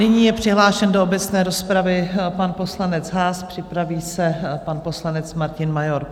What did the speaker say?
Nyní je přihlášen do obecné rozpravy pan poslanec Haas, připraví se pan poslanec Martin Major.